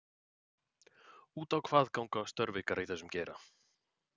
Út á hvað ganga ykkar störf í þessum geira?